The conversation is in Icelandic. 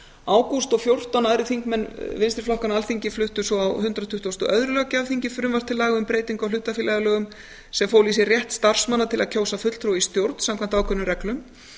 ágúst og fjórtán aðrir þingmenn vinstri flokkanna á alþingi fluttu svo á hundrað tuttugasta og öðrum löggjafarþingi frumvarp til laga um breytingu á hlutafélagalögum sem fól í sér rétt starfsmanna til að kjósa fulltrúa í stjórn samkvæmt ákveðnum reglum